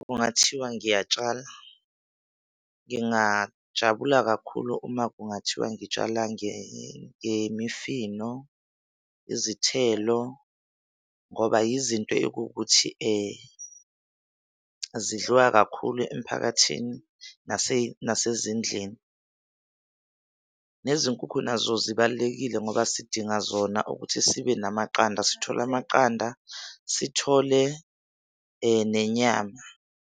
kungathiwa ngiyatshala, ngingajabula kakhulu uma kungathiwa ngitshala ngemifino, izithelo ngoba yizinto ekuwukuthi zidliwa kakhulu emphakathini nasezindlini. Nezinkukhu nazo zibalulekile ngoba sidinga zona ukuthi sibe namaqanda, sithole amaqanda, sithole nenyama.